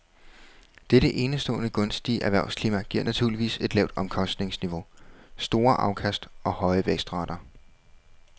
Dette enestående gunstige erhvervsklima giver naturligvis et lavt omkostningsniveau, store afkast og høje vækstrater.